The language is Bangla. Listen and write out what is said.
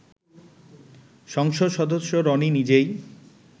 সংসদ সদস্য রনি নিজেই